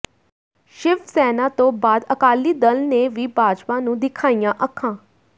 ਸ਼ਿਵ ਸੈਨਾ ਤੋਂ ਬਾਅਦ ਅਕਾਲੀ ਦਲ ਨੇ ਵੀ ਭਾਜਪਾ ਨੂੰ ਦਿਖਾਈਆਂ ਅੱਖਾਂ